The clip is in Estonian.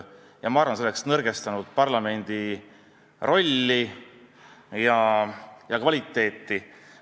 Ma arvan, et see oleks nõrgestanud parlamendi rolli ja kvaliteeti.